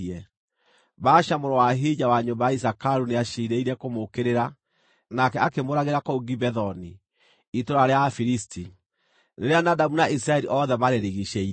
Baasha mũrũ wa Ahija wa nyũmba ya Isakaru nĩaciirĩire kũmũũkĩrĩra, nake akĩmũũragĩra kũu Gibethoni, itũũra rĩa Afilisti, rĩrĩa Nadabu na Isiraeli othe marĩrigiicĩirie.